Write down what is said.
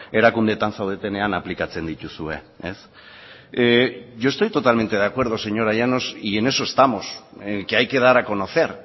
erakundeetan zaudetenean aplikatzen dituzue yo estoy totalmente de acuerdo señora llanos y en eso estamos en que hay que dar a conocer